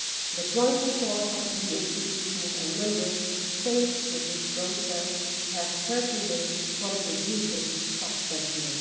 The joint support of EU institutions and Member States for this process has certainly contributed substantially.